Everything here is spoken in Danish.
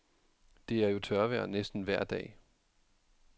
Det er jo tørvejr næsten vejr dag.